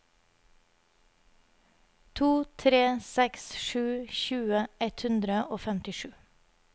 to tre seks sju tjue ett hundre og femtisju